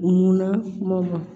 U mun na kuma ma